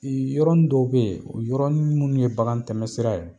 Ee yɔrɔnin dɔw be yen, o yɔrɔnin munnu ye bakan tɛmɛ sira ye